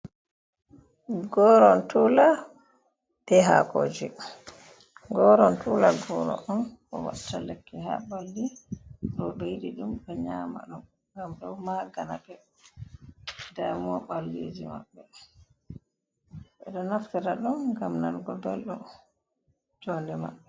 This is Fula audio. Gorontula be Hakoji: Goron tula goro on watta lekki ha ɓalli. Roɓe yiɗi ɗum bo nyama ɗum ngam ɗo magina ɓe damuwa ɓalliji maɓɓe. Ɓeɗo naftira ɗum ngam nanugo belɗum jonde maɓɓe.